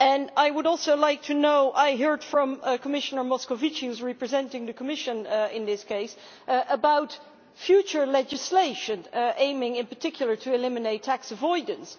I heard from Commissioner Moscovici, who is representing the Commission in this case, about future legislation aiming in particular to eliminate tax avoidance.